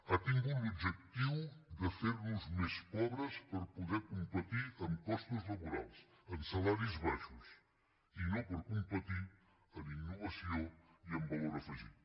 ha tingut l’objectiu de fer nos més pobres per poder competir en costos laborals amb salaris baixos i no per competir en innovació i en valor afegit